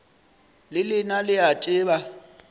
le lena le a tseba